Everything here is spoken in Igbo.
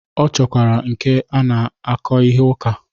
Ọ chọkwara nke na-akọ ihe ụka.